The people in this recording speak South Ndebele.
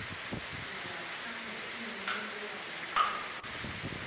ngaphandle iinciliba namaqanda